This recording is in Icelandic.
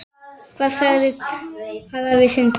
Hvað sagði Tara við Sindra?